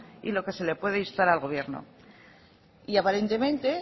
y de lo que se puede instar al gobierno y aparentemente